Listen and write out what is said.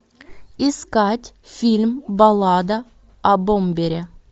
искать фильм баллада о бомбере